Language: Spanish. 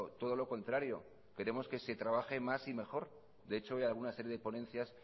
todo lo contrario queremos que se trabaje más y mejor de hecho hay alguna serie de ponencias